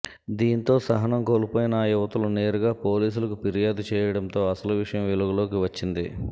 దీంతో సహనం కోల్పోయిన ఆ యువతులు నేరుగా పోలీసులకు ఫిర్యాదు చేయడంతో అసలు విషయం వెలుగులోకి వచ్చింది